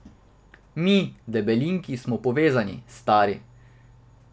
Mi, debelinki, smo povezani, stari.